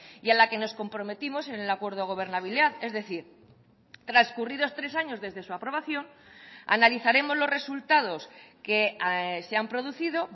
y a la que nos comprometimos en el acuerdo de gobernabilidad es decir transcurridos tres años desde su aprobación analizaremos los resultados que se han producido